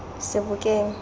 sebokeng